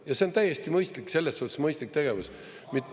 Ja see on täiesti mõistlik, selles suhtes mõistlik tegevus.